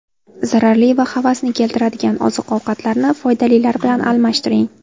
Zararli va havasni keltiradigan oziq-ovqatlarni foydalilar bilan almashtiring.